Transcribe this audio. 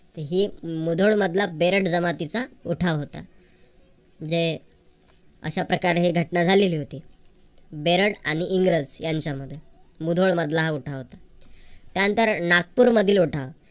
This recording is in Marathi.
ही मुधोळ मधला बेरड जमातीचा उठाव होता. जे अश्या प्रकारे हि घटना झालेली होती. बेरड आणि इंग्रज यांच्यामध्ये. मुधोळ मधला हा उठाव होता. त्यानंतर नागपूरमधील उठाव.